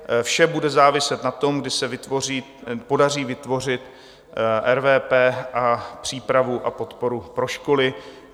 Vše bude záviset na tom, kdy se podaří vytvořit RVP a přípravu a podporu pro školy.